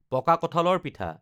পকা কঁঠালৰ পিঠা